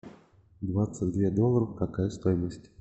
двадцать две долларов какая стоимость